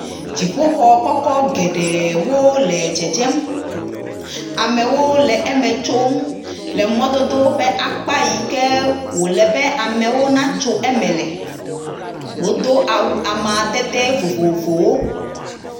Dziƒoxɔ kɔkɔ geɖewo le dzedzem. Amewo le eme tsom le mɔdodo ƒe akpa yi ke wole be amewo natso eme la. Wodo awu amadede vovovowo.